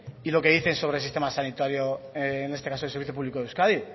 y lo que dice sobre el sistema sanitario en este caso el servicio público de euskadi